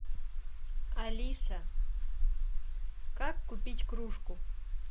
алиса как купить кружку